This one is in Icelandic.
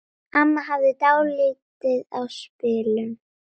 Amma hafði dálæti á spilum.